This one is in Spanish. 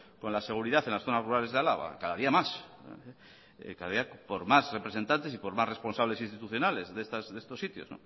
con la seguridad en las zonas rurales de álava cada día más cada día por más representantes y por más responsables institucionales de estos sitios